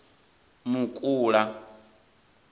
mukula